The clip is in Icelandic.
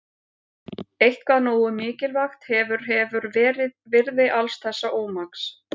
Eitthvað nógu mikilvægt hefur hefur verið virði alls þessa ómaks.